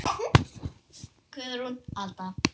Guðrún Alda.